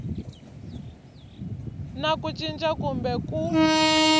na ku cinca kumbe ku